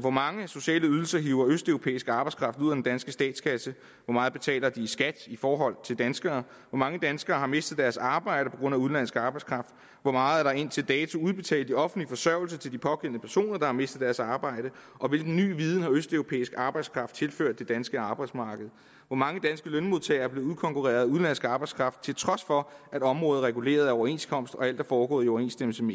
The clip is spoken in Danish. hvor mange sociale ydelser hiver østeuropæisk arbejdskraft ud af den danske statskasse hvor meget betaler de i skat i forhold til danskere hvor mange danskere har mistet deres arbejde på grund af udenlandsk arbejdskraft hvor meget er der indtil dato udbetalt i offentlig forsørgelse til de pågældende personer der har mistet deres arbejde og hvilken ny viden har østeuropæisk arbejdskraft tilført det danske arbejdsmarked hvor mange danske lønmodtagere er blevet udkonkurreret af udenlandsk arbejdskraft til trods for at området er reguleret af overenskomst og alt er foregået i overensstemmelse med